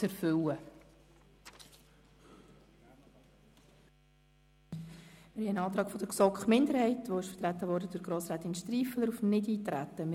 Es liegt ein Antrag auf Nichteintreten der GSoK-Minderheit vor, welcher durch Grossrätin Striffeler vertreten wurde.